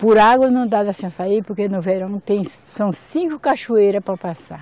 Por água não dá da senhora sair, porque no verão não tem, são cinco cachoeiras para passar.